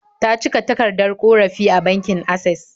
Ta cike takardar ƙorafi a bankin Asses